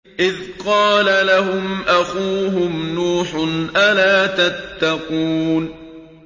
إِذْ قَالَ لَهُمْ أَخُوهُمْ نُوحٌ أَلَا تَتَّقُونَ